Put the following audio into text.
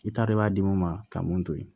I t'a dɔn i b'a di mun ma ka mun to yen